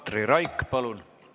Katri Raik, palun!